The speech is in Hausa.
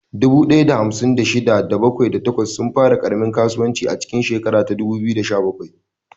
Dubu ɗaya da hamsin da shida, da bakwai, da takwas sun fara ƙaramin kasuwanci a cikin shekarar 2017.